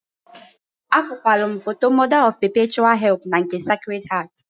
Afụkwalụ m foto Mọda ọf pepechual help na nke Secred Heart..